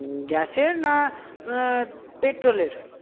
Gas এর না এ petrol এর?